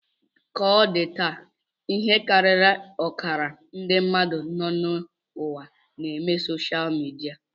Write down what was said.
Ka o di taa, ihe karịrị ọkara ndị mmadụ nọ n'ụwa na-eme soshal midia